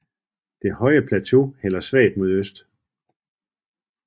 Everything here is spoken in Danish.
Det høje plateau hælder svagt mod øst